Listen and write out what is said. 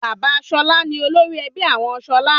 Bàbá Ṣọlá ni olórí ẹbí àwọn Ṣọlá.